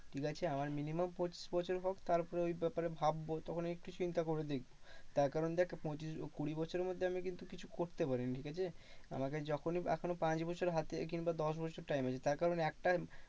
ঠিকআছে? আমার minimum পঁচিশ বছর হোক তারপরে ওই ব্যাপারে ভাববো। তখন একটু চিন্তা করে দেখবো। তার কারণ দেখ পঁচিশ কুড়ি বছরের মধ্যে আমি কিন্তু কিছু করতে পারিনি, ঠিকআছে? আমাকে যখনি এখনো পাঁচ বছর হাতে কিন্তু আর দশ বছর time আছে তার কারণ একটার